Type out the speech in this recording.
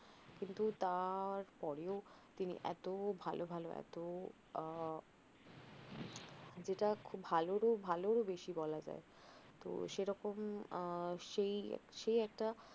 কিন্তু তার পরেও তিনি এত ভালও ভালও এত আহ যেটা খুভ ভালরও ভালরও বেশি বলা যায় তহ সেরকম আহ সেই একটা